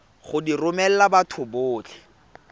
go di romela batho botlhe